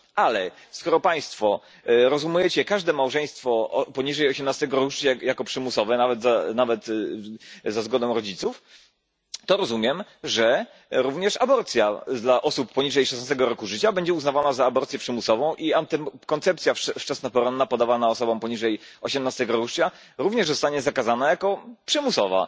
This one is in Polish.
Ale skoro państwo rozumiecie każde małżeństwo poniżej 18 roku życia jako przymusowe, nawet za zgodą rodziców, to rozumiem, że również aborcja dla osób poniżej 16 roku życia będzie uznawana za aborcję przymusową, a antykoncepcja wczesnoporonna podawana osobom poniżej 18 roku życia również zostanie zakazana jako przymusowa.